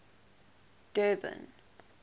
durban